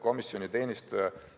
Komisjoni teenistuja ütles,